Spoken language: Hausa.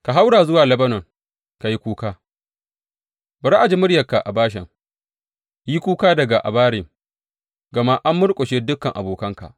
Ka haura zuwa Lebanon ka yi kuka, bari a ji muryarka a Bashan, yi kuka daga Abarim, gama an murƙushe dukan abokanka.